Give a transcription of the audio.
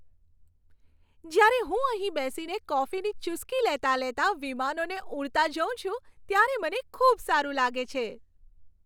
જ્યારે હું અહીં બેસીને કોફીની ચૂસકી લેતાં લેતાં વિમાનોને ઉડતા જોઉં છું ત્યારે મને ખૂબ સારું લાગે છે.